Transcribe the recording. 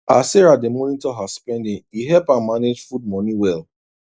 as sarah dey monitor her spending e help am manage food money well